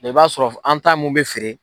I b'a sɔrɔ an ta mun bɛ feere.